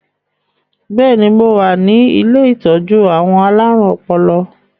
Bẹ́ẹ̀ni, mo wá ní ilé ìtọ́jú àwọn alárùn ọpọlọ